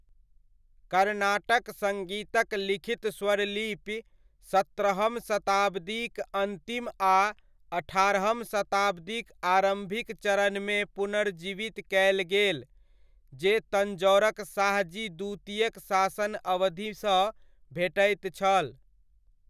कर्नाटक सङ्गीतक लिखित स्वरलिपि सत्रहम शताब्दीक अन्तिम आ अठारहम शताब्दीक आरम्भिक चरणमे पुनर्जीवित कयल गेल जे तञ्जौरक शाहजी द्वितीयक शासन अवधिसँ भेटैत छल।